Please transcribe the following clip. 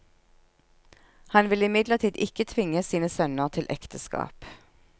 Han vil imidlertid ikke tvinge sine sønner til ekteskap.